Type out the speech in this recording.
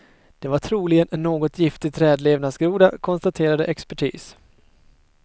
Det var troligen en något giftig trädlevnadsgroda, konstaterade expertis.